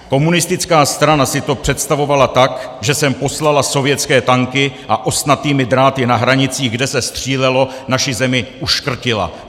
Komunistická strana si to představovala tak, že sem poslala sovětské tanky a ostnatými dráty na hranicích, kde se střílelo, naši zemi uškrtila.